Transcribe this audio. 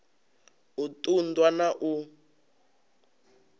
u ṱun ḓwa na u